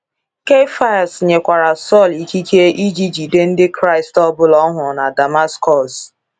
Keifas nyerekwara Saul ikike iji jide ndị Kraịst ọ bụla ọ hụrụ na Damascus.